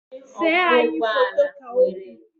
See enyi ahụ foto! Ka o kwuru